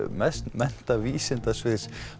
menntavísindasviðs